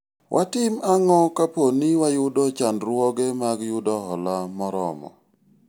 watim ang'o kapo ni wayudo chandruoge mag yudo hola moromo